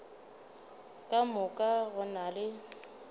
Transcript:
ka moka go na le